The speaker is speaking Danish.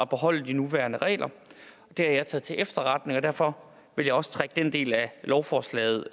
beholde de nuværende regler det har jeg taget til efterretning og derfor vil jeg også trække den del af lovforslaget